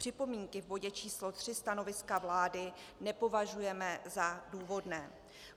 Připomínky v bodě číslo 3 stanoviska vlády nepovažujeme za důvodné.